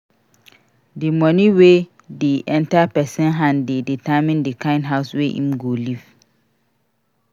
Di money wey dey enter person hand dey determine di kind house wey im go live